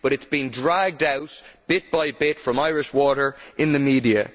it has been dragged out, bit by bit, from Irish Water in the media.